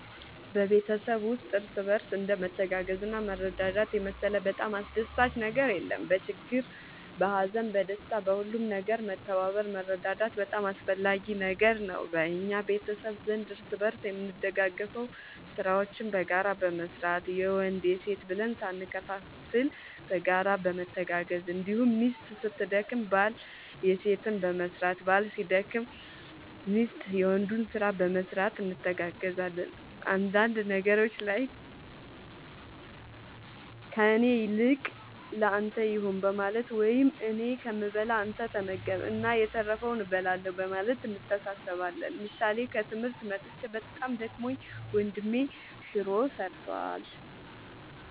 በቤተሰብ ውስጥ እርስ በርስ እንደ መተጋገዝና መረዳዳት የመሰለ በጣም አስደሳች ነገር የለም በችግር በሀዘን በደስታ በሁሉም ነገር መተባበር መረዳዳት በጣም አስፈላጊ ነገር ነው በእኛ ቤተሰብ ዘንድ እርስ በርስ የምንደጋገፈው ስራዎችን በጋራ በመስራት የወንድ የሴት ብለን ሳንከፋፈል በጋራ በመተጋገዝ እንዲሁም ሚስት ስትደክም ባል የሴትን በመስራት ባል ሲደክም ሚስት የወንዱን ስራ በመስራት እንተጋገዛለን አንዳንድ ነገሮች ላይ ከእኔ ይልቅ ለአንተ ይሁን በማለት ወይም እኔ ከምበላ አንተ ተመገብ እና የተረፈውን እበላለሁ በማለት እንተሳሰባለን ምሳሌ ከትምህርት መጥቼ በጣም ደክሞኝ ወንድሜ ሹሮ ሰርቷል።